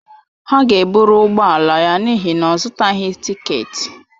Ha ga-ebụrụ ụgbọ ala ya n'ihi na ọ zụtaghị tịketị